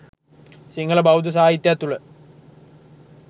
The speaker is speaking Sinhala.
සිංහල බෞද්ධ සාහිත්‍යයක් තුළ